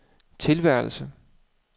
tilværelse